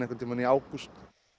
í ágúst